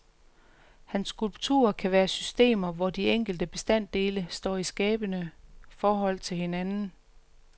Hans skulpturer kan være systemer, hvor de enkelte bestanddele står i skabende forhold til hinanden.